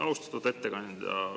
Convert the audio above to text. Austatud ettekandja!